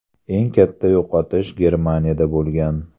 Eng katta yo‘qotish Germaniyada bo‘lgan.